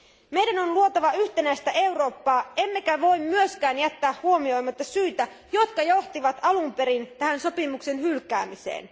Meidän on luotava yhtenäistä Eurooppaa, emmekä voi myöskään jättää huomioimatta syitä, jotka johtivat alun perin tähän sopimuksen hylkäämiseen.